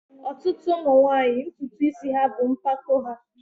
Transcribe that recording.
ọtụtụ ụmụ nwanyị ntutu isi ha bụ mpako ha